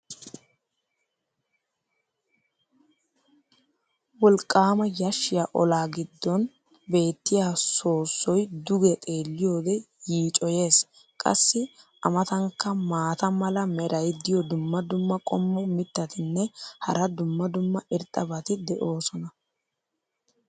wolqqaama yashiya olaa giddon beetiya soossoy duge xeeliyode yiiccoyees. qassi a matankka maata mala meray diyo dumma dumma qommo mitattinne hara dumma dumma irxxabati de'oosona.